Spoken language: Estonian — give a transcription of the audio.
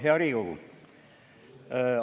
Hea Riigikogu!